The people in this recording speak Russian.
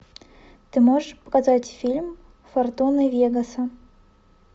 ты можешь показать фильм фортуна вегаса